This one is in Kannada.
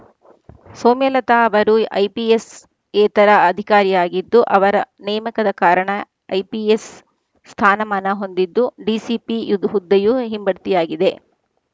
ಸೌಮ್ಯಲತಾ ಅವರು ಐಪಿಎಸ್‌ಯೇತರ ಅಧಿಕಾರಿಯಾಗಿದ್ದು ಅವರ ನೇಮಕದ ಕಾರಣ ಐಪಿಎಸ್‌ ಸ್ಥಾನಮಾನ ಹೊಂದಿದ್ದು ಡಿಸಿಪಿ ಇದ್ ಹುದ್ದೆಯು ಹಿಂಬಡ್ತಿಯಾಗಿದೆ